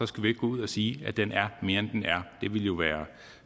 skal vi ikke gå ud og sige at den er mere end den er det ville jo være